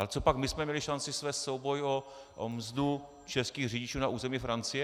Ale cožpak my jsme měli šanci svést souboj o mzdu českých řidičů na území Francie?